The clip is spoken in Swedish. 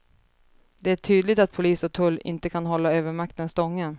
Det är tydligt att polis och tull inte kan hålla övermakten stången.